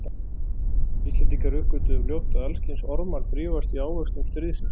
Íslendingar uppgötvuðu fljótt að alls kyns ormar þrífast í ávöxtum stríðsins.